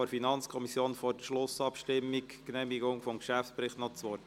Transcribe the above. – Das ist auch nicht der Fall.